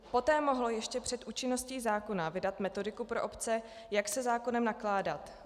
Poté mohlo ještě před účinností zákona vydat metodiku pro obce, jak se zákonem nakládat.